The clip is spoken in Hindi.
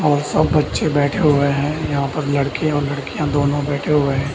और सब बच्चे बैठे हुए हैं। यहाँ पर लड़के और लड़कियाँ दोनों बैठे हुए हैं।